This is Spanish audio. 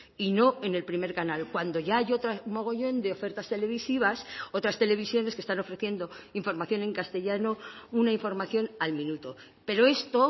y no en el primer canal cuando ya hay otro mogollón de ofertas televisivas otras televisiones que están ofreciendo información en castellano una información al minuto pero esto